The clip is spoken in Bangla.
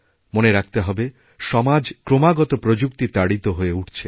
মনে রাখতে হবে সমাজ ক্রমাগতপ্রযুক্তি তাড়িত হয়ে উঠছে